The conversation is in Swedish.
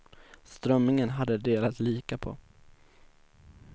Strömmingen har de delat lika på.